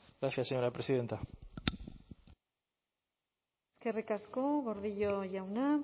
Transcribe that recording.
gracias señora presidenta eskerrik asko gordillo jauna